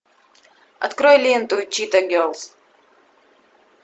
открой ленту чита герлз